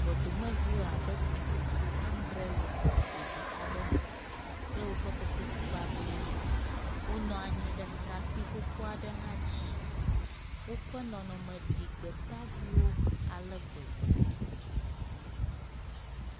Gbɔdomeviwo abe xexlẽme adre le xɔ ƒoɖi aɖe me kple woƒe kotoku bablewo. Wonɔ anyi ɖe trakpui xoxo aɖe hã dzi, woƒe nɔnɔme ɖi gbetaviwo ale gbegbe.